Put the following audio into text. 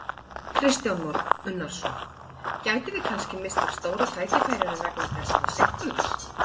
Kristján Már Unnarsson: Gætum við kannski misst af stóra tækifærinu vegna þessarar seinkunar?